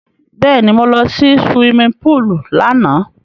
Bẹ́ẹ̀ni, mo lọ sí suwimi púùlù lánàá.